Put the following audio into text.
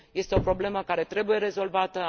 Este o problemă care trebuie rezolvată.